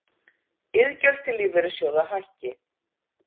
Iðgjöld til lífeyrissjóða hækki